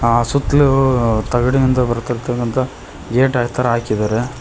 ಆ ಸುತ್ಲು ತಗಡಿಂದ ಬರತಿರಕಂತ ಗೇಟ್ ತರ ಹಾಕಿದಾರೆ.